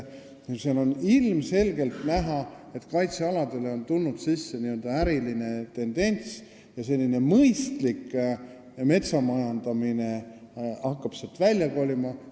On ilmselgelt näha, et kaitsealadele on tulnud sisse n-ö äriline tendents ja mõistlik metsa majandamine hakkab sealt välja kolima.